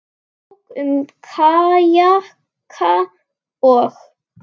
Bók um kajaka og.